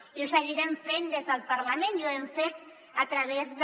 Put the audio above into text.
i ho seguirem fent des del parlament i ho hem fet a través de